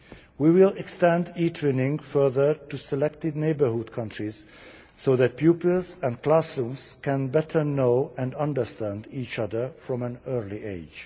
We will extend e Twinning further to selected neighbourhood countries so that pupils and classrooms can better know and understand each other from an early age.